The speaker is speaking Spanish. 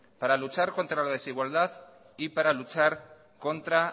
para luchar contra la desigualdad y para luchar contra